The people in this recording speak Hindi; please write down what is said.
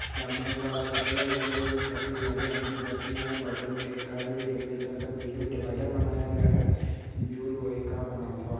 सामने एक बड़ा सा पेड़ है जो हरे रंग की पत्ती है बगल में एक गाना जो सफेद रंग का बीच में डिवाइडर बनाया गया है जो का बना हुआ है।